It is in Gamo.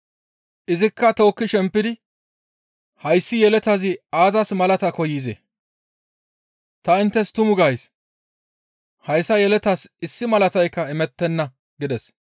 Izikka tookki shempidi, «Hayssi yeletazi aazas malaata koyzee? Ta inttes tuma gays; hayssa yeletaas issi malataykka imettenna» gides.